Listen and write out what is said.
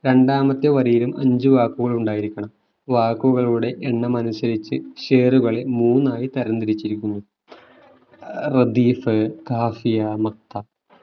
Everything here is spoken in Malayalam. രണ്ടാമത്തെ വരിയിലും അഞ്ചു വാക്കുകൾ ഉണ്ടായിരിക്കണം വാക്കുകളുടെ എണ്ണമനുസരിച്ചു ഷേറുകളെ മൂന്നായി തരംതിരിച്ചിരിക്കുന്നു ഏർ റദീഫ് കാഫിയ മക്ത